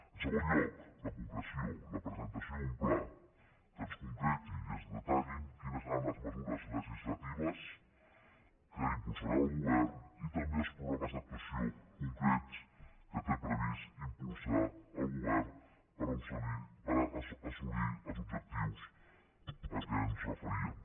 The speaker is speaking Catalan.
en segon lloc la concreció la presentació d’un pla que ens concreti i ens detalli quines seran les mesures legislatives que impulsarà el govern i també els programes d’actuació concrets que té previst impulsar el govern per assolir els objectius a què ens referíem